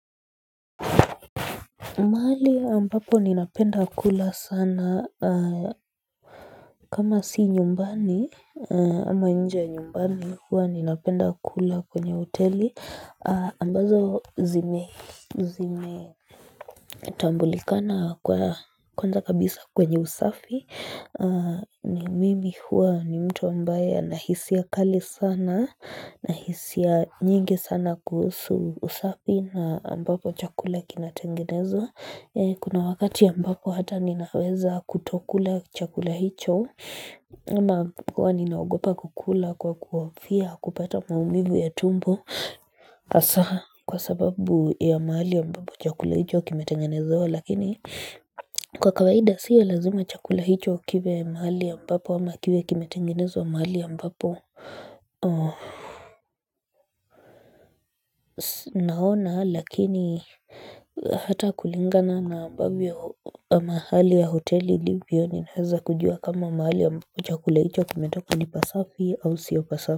Mahali ambapo ninapenda kula sana kama si nyumbani ama nje ya nyumbani huwa ninapenda kula kwenye hoteli ambazo zime zime tambulikana kuwa kwanza kabisa kwenye usafi ni mimi huwa ni mtu ambaye anahisia kali sana nahisia nyingi sana kuusu usafi na ambapo chakula kinatengenezwa. Kuna wakati ambapo hata ninaweza kutokula chakula hicho Ama hua ninaogopa kukula kwa kuhofia kupata maumivu ya tumbo Asaha kwa sababu ya mahali ambapo chakula hicho kimetengenezwa lakini Kwa kawaida sio lazima chakula hicho kiwe mahali ambapo ama kiwe kimetengenezwa mahali ambapo Naona lakini Hata kulingana na ambavyo mahali ya hoteli ilivyo ninaeza kujua kama mahali ambapo chakula icho kimetoka ni pasafi au sio pasafi.